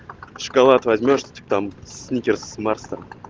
шоколад возьмёшь тип там сникерс марс там